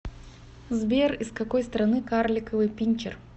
сбер из какой страны карликовый пинчер